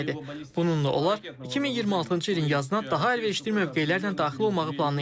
Bununla onlar 2026-cı ilin yazına daha əlverişli mövqelərlə daxil olmağı planlayırlar.